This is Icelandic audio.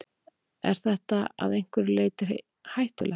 Er þetta að einhverju leyti hættulegt?